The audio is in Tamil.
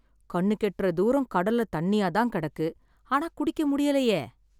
கண்ணுக்கு எட்ற தூரம் கடல்ல தண்ணியா தான் கிடக்கு ஆனா குடிக்க முடியலையே